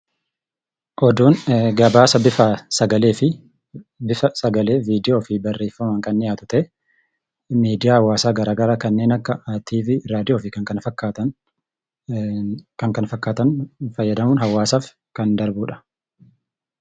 Oduun gabaasa bifa sagalee fi bifa sagalee, viidiyoo fi barreeffamaan kan dhiyaatu ta'ee, miidiyaa hawaasaa garaagaraa kanneen akka TV ,raadiyoo fi kan kana fakkaatan, kan kana fakkaatan fayyadamuun hawaasaaf kan darbuu dha.